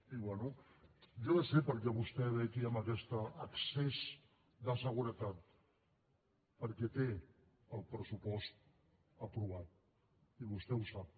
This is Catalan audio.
i bé jo ja sé per què vostè ve aquí amb aquest excés de seguretat perquè té el pressupost aprovat i vostè ho sap